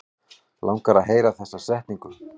Langar að heyra þessa setningu.